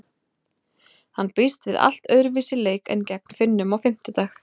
Hann býst við allt öðruvísi leik en gegn Finnum á fimmtudag.